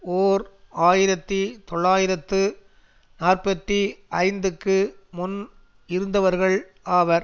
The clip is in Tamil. ஓர் ஆயிரத்தி தொள்ளாயிரத்து நாற்பத்தி ஐந்துக்கு முன் இருந்தவர்கள் ஆவர்